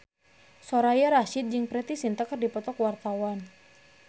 Soraya Rasyid jeung Preity Zinta keur dipoto ku wartawan